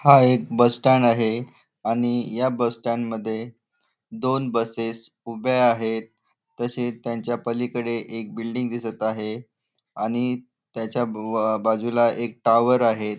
हा एक bus stand आहे आणि या बस स्टँड मध्ये दोन बसेस उभ्या आहेत तसेच त्यांच्या पलीकडे एक बिल्डिंग दिसत आहे आणि त्याच्या बाजूला एक टावर आहे.